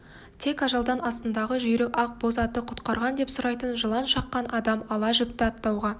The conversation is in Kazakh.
тек ажалдан астындағы жүйрік ақ боз аты құтқарған деп сұрайтын жылан шаққан адам ала жіпті аттауға